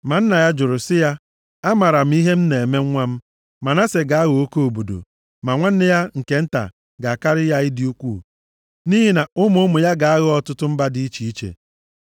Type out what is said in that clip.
Ma nna ya jụrụ, sị ya, “Amaara m ihe m na-eme nwa m, Manase ga-aghọ oke obodo, ma nwanne ya nke nta ga-akarị ya ịdị ukwuu, nʼihi na ụmụ ụmụ ya ga-aghọ ọtụtụ mba dị iche iche.”